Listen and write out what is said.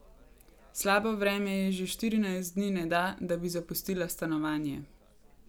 Slabo vreme ji že štirinajst dni ne da, da bi zapustila stanovanje.